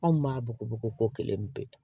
Anw b'a bugubugu kelen pewu